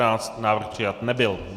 Návrh přijat nebyl.